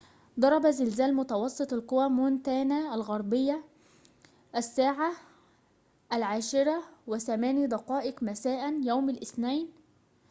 ضرب زلزال متوسط القوة مونتانا الغربية الساعة ١٠:٠٨ مساءً. يوم الاثنين